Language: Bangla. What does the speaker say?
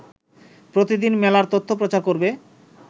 প্রতিদিন মেলার তথ্য প্রচার করবে